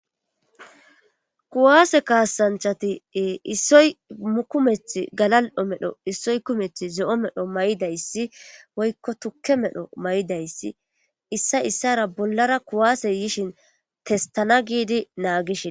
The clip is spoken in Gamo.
kuwaase kaasanchati issoy mukumeth galal7o medho issoy kumeth ze7o medho may7idayssi woykko tukke medho may7idayssi issa issara bollara kuwaase yishin testana giidi naagishin